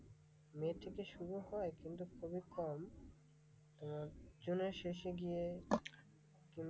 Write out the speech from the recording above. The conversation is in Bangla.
মে থেকে শুরু হয় কিন্তু খুবই কম, আহ জুনের শেষে গিয়ে,